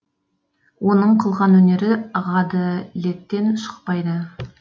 оның қылған өнері ғаделеттен шықпайды